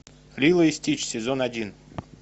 лило и стич сезон один